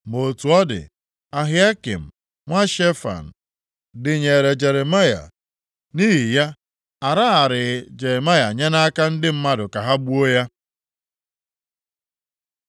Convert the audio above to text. Ma otu ọ dị, Ahikam nwa Shefan, dịnyeere Jeremaya, nʼihi ya a raraghị Jeremaya nye nʼaka ndị mmadụ ka ha gbuo ya.